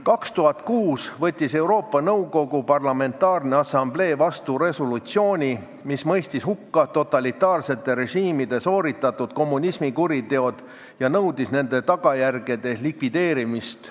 2006. aastal võttis Euroopa Nõukogu Parlamentaarne Assamblee vastu resolutsiooni, mis mõistis hukka totalitaarsete režiimide sooritatud kommunismi kuriteod ja nõudis nende tagajärgede likvideerimist.